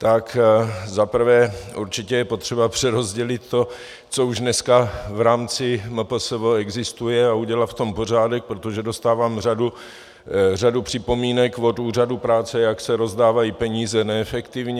Tak za prvé určitě je potřeba přerozdělit to, co už dneska v rámci MPSV existuje, a udělat v tom pořádek, protože dostávám řadu připomínek od úřadů práce, jak se rozdávají peníze neefektivně.